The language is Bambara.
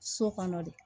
So kɔnɔ de